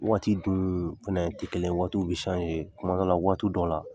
Waati dun fana tɛ kelen ye waatiw bi kuma dɔw la waati dɔ la.